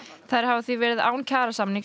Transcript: þær hafa því verið án kjarasamnings